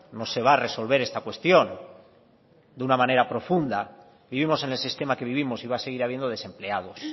no se va a resolver esta cuestión de una manera profunda vivimos en el sistema que vivimos y va a seguir habiendo desempleados